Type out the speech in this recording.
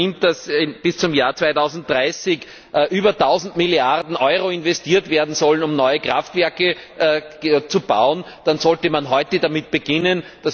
Wenn man annimmt, dass bis zum Jahr 2030 über tausend Milliarden Euro investiert werden sollen, um neue Kraftwerke zu bauen, dann sollte man heute schon damit beginnen.